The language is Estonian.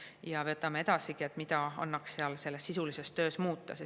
Ja me analüüsime edaspidigi, mida annaks sisulises töös muuta.